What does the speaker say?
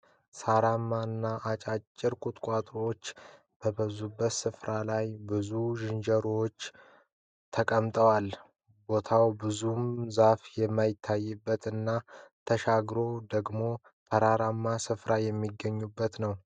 ሳራማ እና አጫጭር ቁጥቁጦዎች በበዙበት ስፍራ ላይ ብዙ ዥንጀሮዎች ተቀምጠዋል። ቦታው ብዙም ዛፍ የማይታይበት እና ተሻግሮ ደግሞ ተራራማ ስፍራዎች የሚገኙበት ነው።